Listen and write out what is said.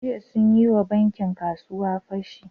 Jiya sun yi wa bankin ‘yan kasuwa fashi.